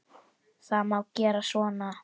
Það má gera svona